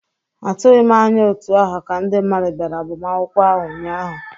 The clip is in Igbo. Atụghị m anya otú ahụ ka ndị mmadụ bịara agbamakwụkwọ ahụ ụnyaahụ.